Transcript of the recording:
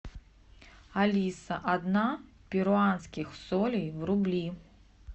алиса одна перуанских солей в рубли